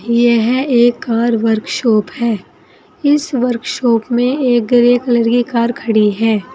यह एक car workshop है इस वर्कशॉप में एक रेड कलर की कार खड़ी है।